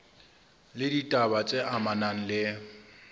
le ditaba tse amanang le